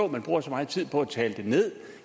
man bruger så meget tid på at tale det nederst